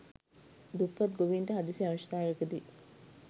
දුප්පත් ගොවීන්ට හදිසි අවශ්‍යතාවයකදි